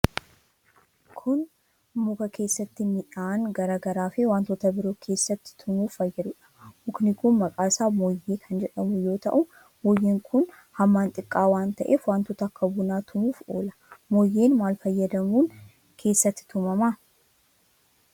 Kun, muka keessatti midhaan garaa garaa fi wantoota biroo keessatti tumuuf fayyaduudha Mukni kun, maqaan isaa mooyyee kan jedhamu yoo ta'u, mooyyeen kun hammaan xiqqoo waan ta'eef wantoota akka bunaa tumuuf oola. Mooyyeen maal fayyadamuun keessatti tumama?